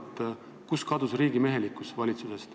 Kuhu on valitsusest kadunud riigimehelikkus?